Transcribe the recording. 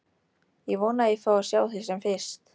Ég vona að ég fái að sjá þig sem fyrst.